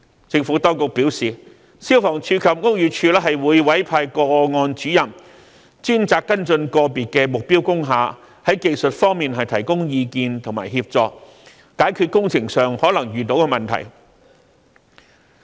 政府當局表示，消防處及屋宇署會委派個案主任專責跟進個別目標工廈，在技術方面提供意見和協助，解決工程上可能遇到的問題。